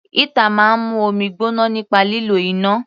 Heater máa ń mú omi gbóná nípa lílo iná.